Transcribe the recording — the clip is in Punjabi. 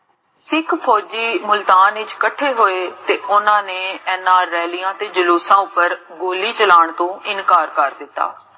ਸਿਖ ਫੋਜ੍ਜੀ ਮੁਲਤਾਨ ਵਿਚ ਕਠੇ ਹੋਏ ਤੇ ਓਨ੍ਨਾ ਨੇ ਇੰਨਾ ਰੈਲਿਆਂ ਵਿਚ ਜਲੂਸਾਂ ਉਪਰ ਗੋੱਲੀ ਚਲਾਨ ਤੋ ਇਨਕਾਰ ਕਰ ਦਿੱਤਾ